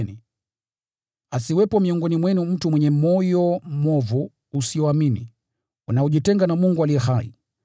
Ndugu zangu, angalieni, asiwepo miongoni mwenu mtu mwenye moyo mwovu usioamini, unaojitenga na Mungu aliye hai.